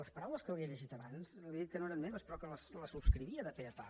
les paraules que li he llegit abans li he dit que no eren meves però que les subscrivia de pe a pa